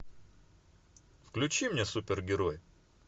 включи мне супергерой